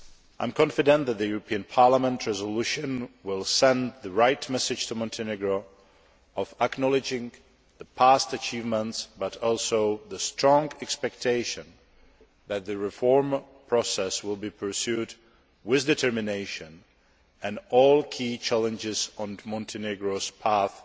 I am confident that the European Parliament resolution will send the right message to Montenegro of acknowledging past achievements, but also the strong expectation that the reform process will be pursued with determination and that all the key challenges on Montenegro's path